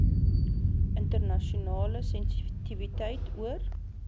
internasionale sensitiwiteit oor